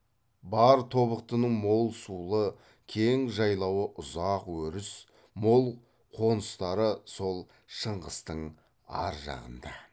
бар тобықтының мол сулы кең жайлауы ұзақ өріс мол қоныстары сол шыңғыстың ар жағында